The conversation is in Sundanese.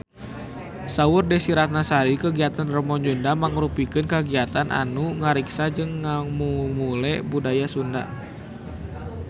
Saur Desy Ratnasari kagiatan Rebo Nyunda mangrupikeun kagiatan anu ngariksa jeung ngamumule budaya Sunda